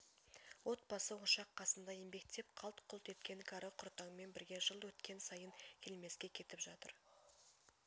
от басы ошақ қасында еңбектеп қалт-құлт еткен кәрі құртаңмен бірге жыл өткен сайын келмеске кетіп жатыр